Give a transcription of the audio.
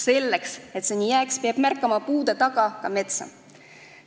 Selleks, et see nii jääks, peab märkama puude taga ka metsa.